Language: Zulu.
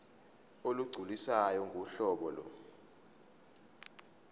olugculisayo ngohlobo lo